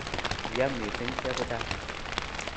.Ya mising chepuchan.